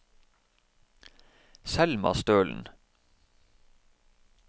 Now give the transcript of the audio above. Selma Stølen